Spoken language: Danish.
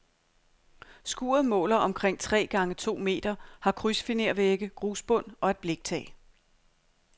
Skuret måler omkring tre gange to meter, har krydsfinervægge, grusbund og et bliktag.